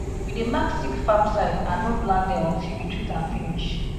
we dey mark sick farm side and no plant there until we treat am finish